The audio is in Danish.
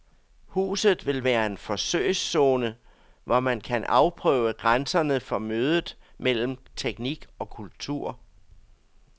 Huset vil være en forsøgszone, hvor man kan afprøve grænserne for mødet mellem teknik og kultur.